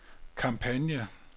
kampagne